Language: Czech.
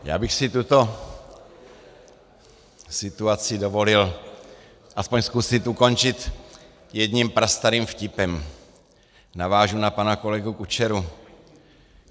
Já bych si tuto situaci dovolil aspoň zkusit ukončit jedním prastarým vtipem - navážu na pana kolegu Kučeru.